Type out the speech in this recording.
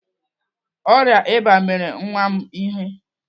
Ọrịa ịba mere nwa m ihe.